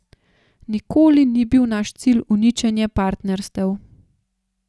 Nikoli ni bil naš cilj uničenje partnerstev.